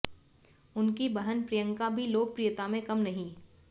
उनकी बहन प्रियंका भी लोकप्रियता में कम नहीं